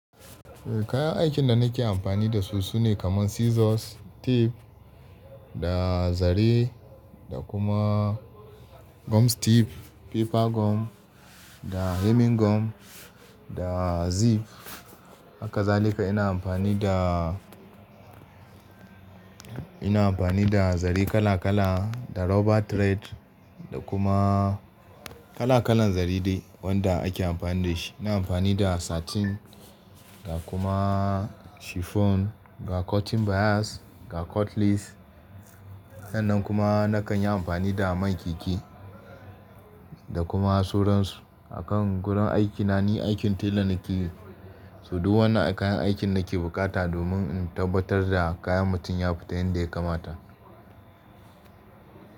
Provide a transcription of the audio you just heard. Eh kayan aikin da nake amfani da su sune kamar scissors, tape da zare da kuma gum tape, paper gum da hemming gum da zip. Hakazalika ina amfani da, ina amfani da zare kala kala da rubber thread da kuma kala kalan zare dai wanda ake amfani da shi. Ina amfani da satin da kuma chiffon, ga cotton bias, ga cotlace. Sannan kuma nakan yi amfani da man keke da kuma sauransu. A kan gurin aikina ni aikin tailor nake yi, so duk wannan kayan aikin nake bukata domin in tabbatar da kayan mutum ya fita yanda ya kamata.